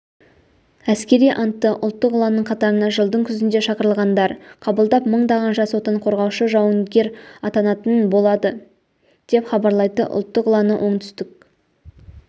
әскери антты ұлттық ұланның қатарына жылдың күзінде шақырылғандар қабылдап мыңдаған жас отан қорғаушы жауынгер атанатын болады деп хабарлайды ұлттық ұланы оңтүстік